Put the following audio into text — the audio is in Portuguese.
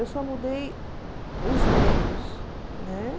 Eu só mudei os meios, né?